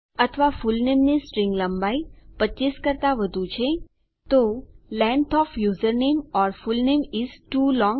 અથવા ફુલનેમની સ્ટ્રીંગ લંબાઈ 25 કરતા વધુ છે તો length O F username or full name is too long